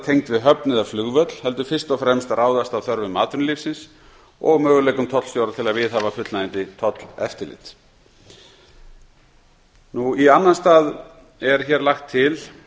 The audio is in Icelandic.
tengd við höfn eða flugvöll heldur fyrst og fremst ráðast af þörfum atvinnulífsins og möguleikum tollstjóra til að viðhafa fullnægjandi tolleftirlit í annan stað er hér lagt til